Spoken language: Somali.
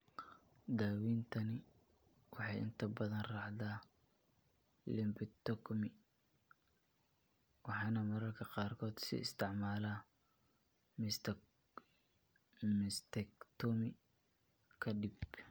Daawayntani waxay inta badan raacdaa lumpectomy, waxaana mararka qaarkood la isticmaalaa mastektomi ka dib.